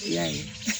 I y'a ye